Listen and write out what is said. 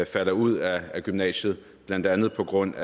falder ud af gymnasiet blandt andet på grund